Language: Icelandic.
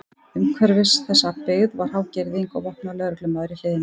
Umhverfis þessa byggð var há girðing og vopnaður lögreglumaður í hliðinu.